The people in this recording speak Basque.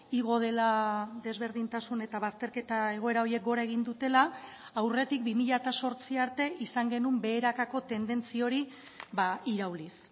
igo dela desberdintasun eta bazterketa egoera horiek gora egin dutela aurretik bi mila zortzi arte izan genuen beherakako tendentzi hori irauliz